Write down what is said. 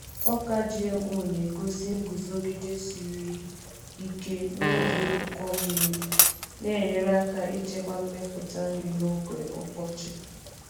Ọka GMO na-egosi iguzogide siri ike n’oge ụkọ mmiri, na-enyere aka ịchekwa mmepụta nri n’oge ọkọchị.